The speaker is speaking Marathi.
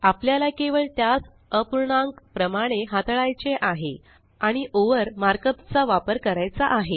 आपल्याला केवळ त्यास अपूर्णांक प्रमाणे हाताळायचे आहे आणि ओव्हर मार्कअप चा वापर करायचा आहे